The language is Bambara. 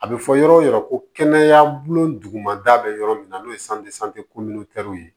A bɛ fɔ yɔrɔ ko kɛnɛya bolo dugumada bɛ yɔrɔ min na n'o ye ye